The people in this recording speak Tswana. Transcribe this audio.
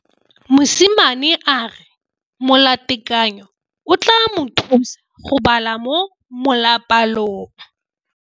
Mosimane a re molatekanyô o tla mo thusa go bala mo molapalong.